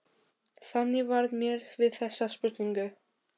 Þannig varð mér við þessa spurningu.